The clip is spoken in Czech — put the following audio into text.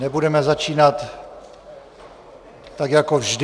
Nebudeme začínat tak, jako vždy...